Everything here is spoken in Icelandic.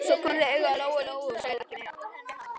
Svo komu þau auga á Lóu-Lóu og sögðu ekkert meira.